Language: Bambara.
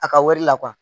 A ka wari la